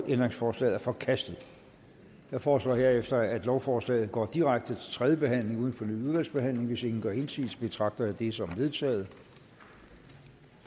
ændringsforslaget er forkastet jeg foreslår herefter at lovforslaget går direkte til tredje behandling uden fornyet udvalgsbehandling hvis ingen gør indsigelse betragter det som vedtaget